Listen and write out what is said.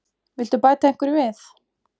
Viltu bæta einhverju við?